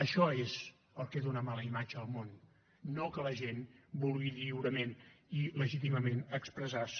això és el que dona mala imatge al món no que la gent vulgui lliurement i legítimament expressar se